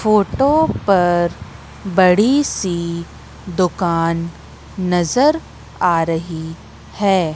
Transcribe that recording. Photo पर बड़ी सी दुकान नजर आ रही है।